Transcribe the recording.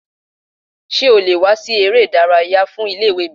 Sé o le wà sí ibi eré ìdárayá fun Ilé ìwé mi?